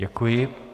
Děkuji.